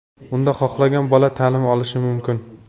Unda xohlagan bola ta’lim olishi mumkin.